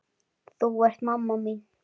Þú ert mamma mín.